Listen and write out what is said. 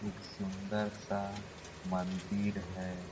एक सुन्दर सा मंदिर है।